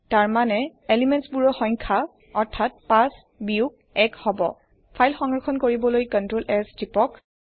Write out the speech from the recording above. তাৰ মানে পদাৰ্থৰ সংখ্যা অৰ্থাৎ ৫ বিয়োগ এক হব ফাইল সংৰক্ষণ কৰিবলৈ CtrlS টিপক